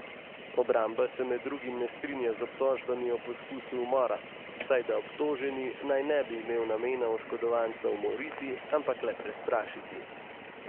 Obramba se med drugim ne strinja z obtožbami o poskusu umora, saj da obtoženi naj ne bi imel namena oškodovanca umoriti, ampak le prestrašiti.